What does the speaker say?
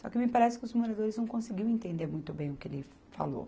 Só que me parece que os moradores não conseguiam entender muito bem o que ele falou.